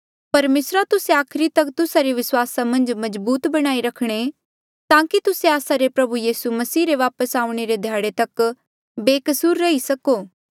परमेसरा तुस्से आखरी तक तुस्सा रे विस्वास मन्झ मजबूत बणाई रखणे ताकि तुस्से आस्सा रे प्रभु यीसू मसीह रे वापस आऊणें रे ध्याड़े मन्झ बेकसूर रही सको